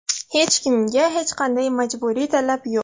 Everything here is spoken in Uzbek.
Hech kimga hech qanday majburiy talab yo‘q.